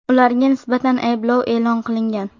Ularga nisbatan ayblov e’lon qilingan.